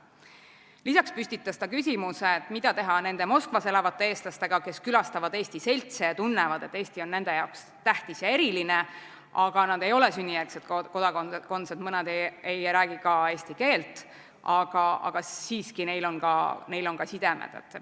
Lisaks püstitas ta küsimuse, mida teha nende Moskvas elavate eestlastega, kes külastavad eesti seltse ja tunnevad, et Eesti on nende jaoks tähtis ja eriline, aga nad ei ole sünnijärgse kodakondsusega, mõned ei räägi ka eesti keelt, aga siiski neil on ka sidemed.